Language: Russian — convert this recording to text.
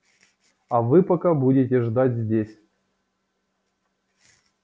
а вы пока будете ждать здесь